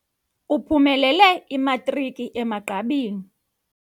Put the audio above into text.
Uphumelele imatriki emagqabini.